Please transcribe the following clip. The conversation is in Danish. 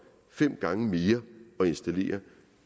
fem gange mere at installere